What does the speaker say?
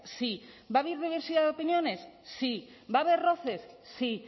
sí va a haber diversidad de opiniones sí va a haber roces sí